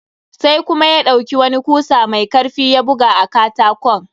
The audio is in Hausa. Sai kuma ya ɗauki wani kusa mai karfi ya buga a katakon.